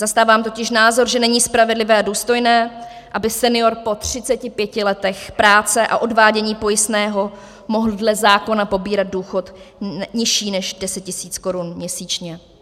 Zastávám totiž názor, že není spravedlivé a důstojné, aby senior po 35 letech práce a odvádění pojistného mohl dle zákona pobírat důchod nižší než 10 000 korun měsíčně.